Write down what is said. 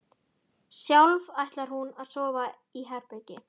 Sjálf ætlar hún að sofa í herbergi